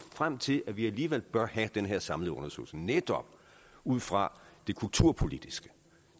frem til at vi alligevel bør have den her samlede undersøgelse netop ud fra det kulturpolitiske